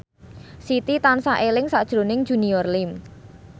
Siti tansah eling sakjroning Junior Liem